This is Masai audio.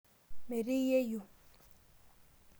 Metii yeyioo.